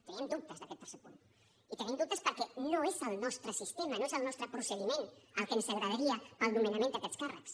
teníem dubtes d’aquest tercer punt i tenim dubtes perquè no és el nostre sistema no és el nostre procediment el que ens agradaria per al nomenament d’aquests càrrecs